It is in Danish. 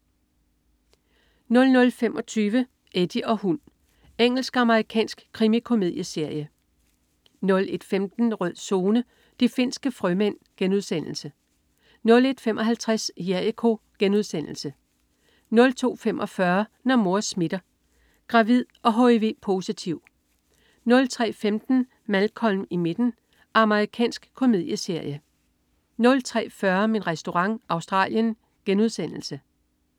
00.25 Eddie og hund. Engelsk-amerikansk krimikomedieserie 01.15 Rød Zone: De finske frømænd* 01.55 Jericho* 02.45 Når mor smitter. Gravid og hiv-positiv! 03.15 Malcolm i midten. Amerikansk komedieserie 03.40 Min Restaurant. Australien*